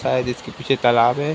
शायद इसके पीछे तालाब है।